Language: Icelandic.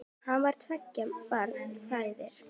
Hann var tveggja barna faðir.